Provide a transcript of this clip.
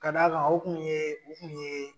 Ka'd'a kan o kun ye o kun ye